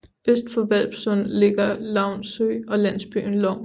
Øst for Hvalpsund ligger Louns Sø og landsbyen Lovns